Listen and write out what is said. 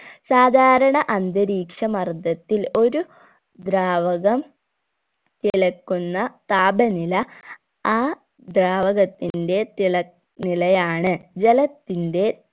സാധാരണ അന്തരീക്ഷ മർദ്ദത്തിൽ ഒരു ദ്രാവകം തിളക്കുന്ന താപനില ആ ദ്രാവകത്തിന്റെ തിള നിലയാണ് ജലത്തിന്റെ